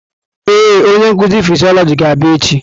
Ee, onye nkuzi fịsiolojị ga-abịa echi.